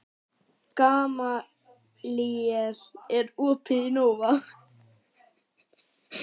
Gamalíel, er opið í Nova?